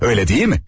Öylə deyilmi?